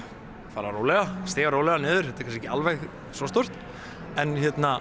rólega stíga rólega niður þetta er kannski ekki alveg svo stórt en